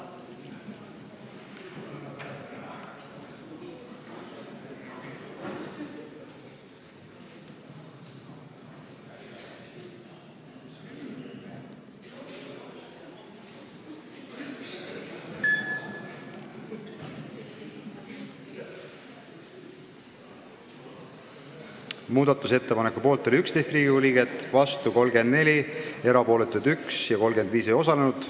Hääletustulemused Muudatusettepaneku poolt oli 11 Riigikogu liiget, vastu 34, erapooletuid üks, 35 ei osalenud.